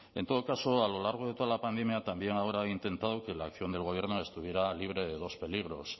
en todo caso a lo largo de toda la pandemia también ahora han intentado que la acción del gobierno estuviera libre de dos peligros